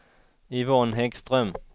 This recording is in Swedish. Yvonne Häggström